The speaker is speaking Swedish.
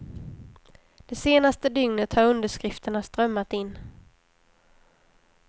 Det senaste dygnet har underskrifterna strömmat in.